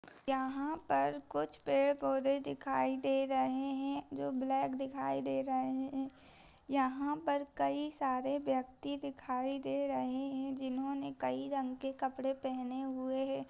यहां पर कुछ पेड़-पौधे दिखाई दे रहे है जो ब्लैक दिखाई दे रहे है यहां पर कई सारे व्यक्ति दिखाई दे रहे है जिन्होंने कई रंग के कपड़े पहने हुए है।